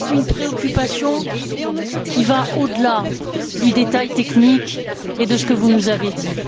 Moi, j'ai une préoccupation qui va au delà du détail technique et de ce que vous nous avez dit.